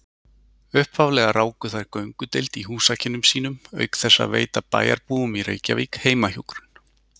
Upphaflega ráku þær göngudeild í húsakynnum sínum auk þess að veita bæjarbúum í Reykjavík heimahjúkrun.